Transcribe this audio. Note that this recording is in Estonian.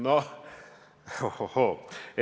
Noh, oh-oh-hoo ...